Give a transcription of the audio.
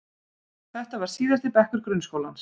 Þetta var síðasti bekkur grunnskólans.